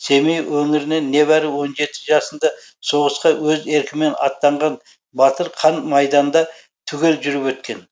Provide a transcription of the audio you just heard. семей өңірінен небәрі он жеті жасында соғысқа өз еркімен аттанған батыр қан майданда түгел жүріп өткен